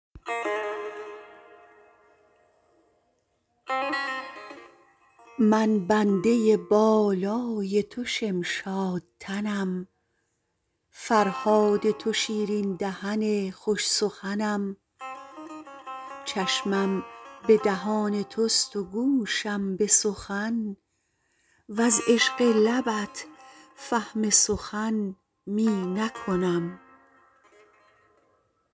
من بنده بالای تو شمشاد تنم فرهاد تو شیرین دهن خوش سخنم چشمم به دهان توست و گوشم به سخن وز عشق لبت فهم سخن می نکنم